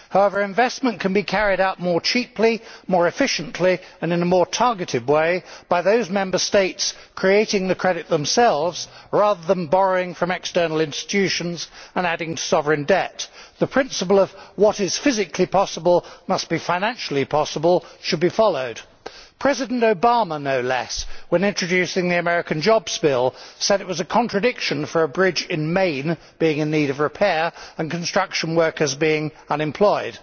However, investment can be carried out more cheaply, more efficiently and in a more targeted way by those Member States creating the credit themselves rather than borrowing from external institutions and adding sovereign debt. The principle of what is physically possible must be financially possible' should be followed. President Obama, no less, when introducing the American Jobs Act, said it was a contradiction for a bridge in Maine to be in need of repair while construction workers were unemployed.